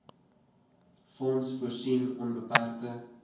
fonds voorsien onbeperkte